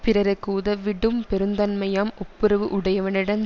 பிறருக்கு உதவிடும் பெருந்தன்மையம் ஒப்புரவு உடையவனிடம்